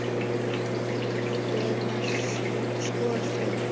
Ég var sko fegin!